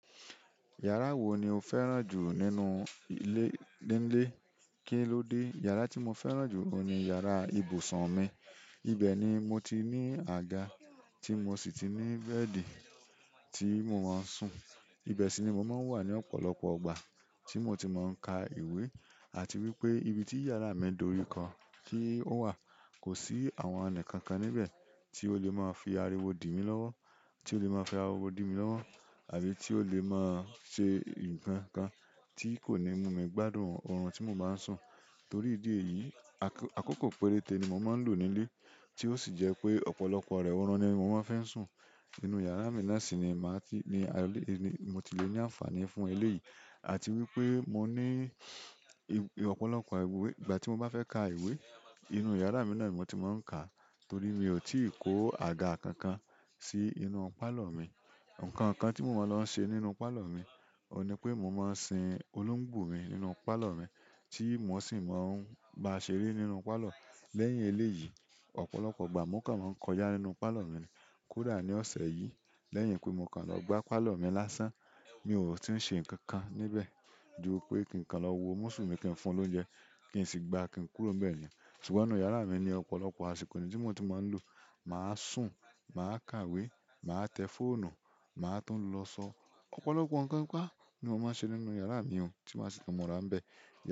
Yàrá wo ni o fẹ́ràn jù nínú ilé nílé? Kí ló dé? Yàrá tí mo fẹ́ràn jù oun ni yàrá ibùsùn mi. Ibẹ̀ ni mo ti ní àga tí mo sì ti ní bẹ́ẹ̀dì tí mo máa ń sùn. Ibẹ̀ sì ni mo máa ń wà ní ọ̀pọ̀lọpọ̀ ìgbà tí mo ti máa ń ká ìwé àti wípé ibi tí yàrá mi dori ka kí ó wà, kò sí àwọn ẹnì kankan níbẹ̀ tí ó lè máa fi ariwo dìmi lọ́wọ́, tí ó lè máa fi ariwo dìmi lọ́wọ́ àbí tí ó lè máa ṣe nǹkan kan tí kò ní mú mi gbádùn orun tí mo bá ń sùn. Torí ìdí èyí, àkókò péréte ni mo máa ń lò nílé tí ó sì jẹ́ pé ọ̀pọ̀lọpọ̀ rẹ orun ni mo máa ń fi n sùn. Inú yàrá mi náà sì ni màá ti-- ni mo ti le ní àǹfààní fún eléyìí. Àti wípé mo ní ọ̀pọ̀lọpọ̀ ìwé. Ìgbà tí mo bá fẹ́ ka ìwé, inú yàrá mi náà ni mo ti máa ń ka, torí mi ò tí ì kó àga kankan sí inú pálọ̀ mi. Ǹkan kan tí mo máa lọ ń ṣe nínú pálọ̀ mi, ọ ní pé mo máa ń sin olóńgbò mi nínú pálọ̀ mi tí mo sì máa ń bá a ṣeré nínú pálọ̀. Lẹ́yìn eléyìí, ọ̀pọ̀lọpọ̀ ìgbà mo kàn máa ń kọjá nínú palọ mi ni. Kódà ní ọ̀sẹ̀ yìí lẹ́yìn pé mo kàn lọ gbá pálọ̀ mi lásán, mi ò tí ń ṣe nǹkan kan níbẹ̀ ju pé kí n kàn lọ wo Músù mí kì í fún lóunjẹ kí sì ń gbá kí n kúrò nbẹ̀ ni. Ṣùgbọ́n inú yàrá mi ní ọ̀pọ̀lọpọ̀ àsìkò mi tí mo ti máa ń lò. Màá sùn, màá ka ìwé, màá tẹ fóònù, màá tún lọ sọ. Ọ̀pọ̀lọpọ̀ ǹkan pa ni mo máa ń ṣe nínú yàrá mi o tí má si tun múra nbẹ̀.